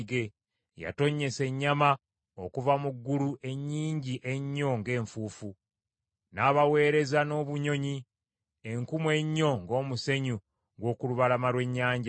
Yatonnyesa ennyama okuva mu ggulu ennyingi ennyo ng’enfuufu; n’abaweereza n’obunyonyi enkumu ennyo ng’omusenyu gw’okulubalama lw’ennyanja.